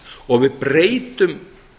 og við breytum